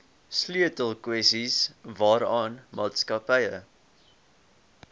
sleutelkwessies waaraan maatskappye